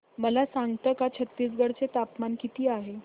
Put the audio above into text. मला सांगता का छत्तीसगढ चे तापमान किती आहे